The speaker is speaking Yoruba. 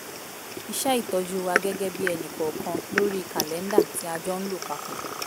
iṣẹ́ ìtọ́jú wa gẹ́gẹ́ bí ẹnìkọ̀ọ̀kan lórí kàlẹ́ńdà tí a jọ ń lò papọ̀